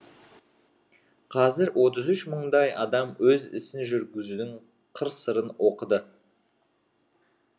қазір отыз үш мыңдай адам өз ісін жүргізудің қыр сырын оқыды